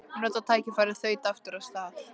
Ég notaði tækifærið og þaut aftur af stað.